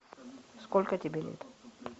сколько тебе лет